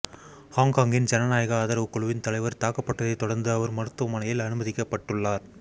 ஹொங்கொங்கின் ஜனநாயக ஆதரவு குழுவின் தலைவர் தாக்கப்பட்டதை தொடர்ந்து அவர் மருத்துவமனையில் அனுமதிக்கப்பட்டுள்ளார்